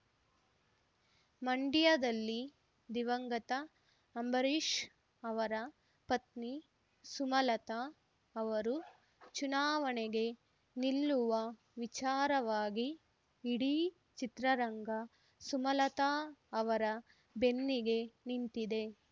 ಮಂಡ್ಯದಲ್ಲಿ ದಿವಂಗತ ಅಂಬರೀಶ್ ಅವರ ಪತ್ನಿ ಸುಮಲತಾ ಅವರು ಚುನಾವಣೆಗೆ ನಿಲ್ಲುವ ವಿಚಾರವಾಗಿ ಇಡೀ ಚಿತ್ರರಂಗ ಸುಮಲತಾ ಅವರ ಬೆನ್ನಿಗೆ ನಿಂತಿದೆ